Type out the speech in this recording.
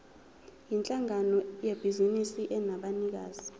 yinhlangano yebhizinisi enabanikazi